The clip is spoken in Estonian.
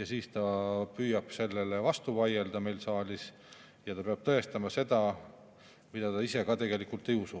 siis ta püüab meile vastu vaielda siin saalis ja ta peab tõestama seda, mida ta ise ka tegelikult ei usu.